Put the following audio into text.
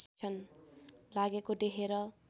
लागेको देखेर